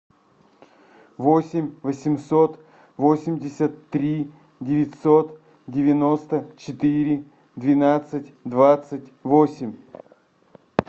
восемь восемьсот восемьдесят три девятьсот девяносто четыре двенадцать двадцать восемь